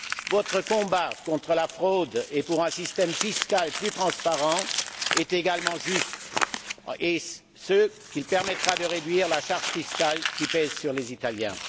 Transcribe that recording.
Votre combat contre la fraude et pour un système fiscal plus transparent est également juste et il permettra de réduire la charge fiscale qui pèse sur les Italiens.